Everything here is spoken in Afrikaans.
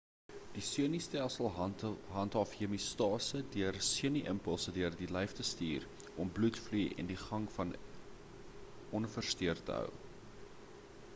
die senustelsel handhaaf hemeostase deur senu impulse deur die lyf te stuur om bloedvloei aan die gang en onversteurd te hou